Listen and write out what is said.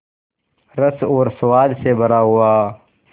रस और स्वाद से भरा हुआ